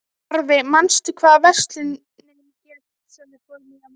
Narfi, manstu hvað verslunin hét sem við fórum í á miðvikudaginn?